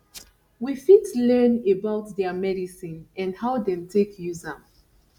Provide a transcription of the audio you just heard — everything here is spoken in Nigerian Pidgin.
we fit learn about their medicine and how dem take use am